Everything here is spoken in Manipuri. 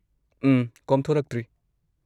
ꯎꯝ, ꯀꯣꯝꯊꯣꯔꯛꯇ꯭ꯔꯤ꯫